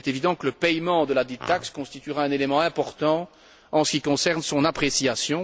Il est évident que le paiement de ladite taxe constituera un élément important en ce qui concerne son appréciation.